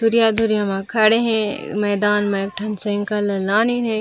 दूरिया दूरिया मा खड़े है मैदान में ठंड से है।